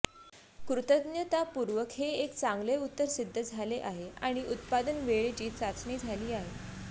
कृतज्ञतापूर्वक हे एक चांगले उत्तर सिद्ध झाले आहे आणि उत्पादन वेळेची चाचणी झाली आहे